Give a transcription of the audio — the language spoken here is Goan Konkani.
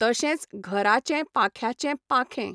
तशेंच घराचें पाख्यांचे पाखें